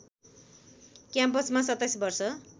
क्याम्पसमा २७ वर्ष